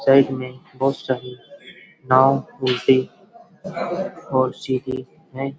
Side में बहोत सारी नाव उलटी और सीधी है।